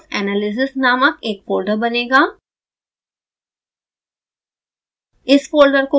scilab codes analysis नामक एक folder बनेगा